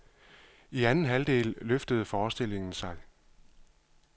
I anden halvdel løftede forestillingen sig.